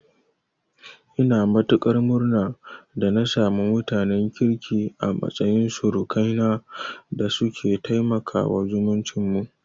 Ina matuƙar murna da na samu mutanen kirki a matsayin surukaina da suke taimakawa zumuncin mu.